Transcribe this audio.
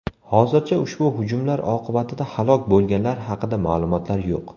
Hozircha ushbu hujumlar oqibatida halok bo‘lganlar haqida ma’lumotlar yo‘q.